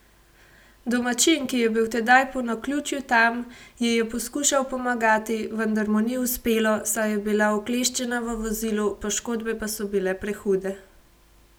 Domačin, ki je bil tedaj po naključju tam, ji je poskušal pomagati, vendar mu ni uspelo, saj je bila ukleščena v vozilu, poškodbe pa so bile prehude.